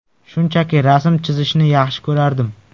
Shunchaki rasm chizishni yaxshi ko‘rardim.